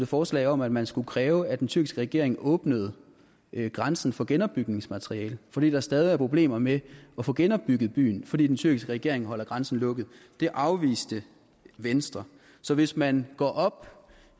forslag om at man skulle kræve at den tyrkiske regering åbnede grænsen for genopbygningsmateriale fordi der stadig er problemer med at få genopbygget byen fordi den tyrkiske regering holder grænsen lukket det afviste venstre så hvis man går op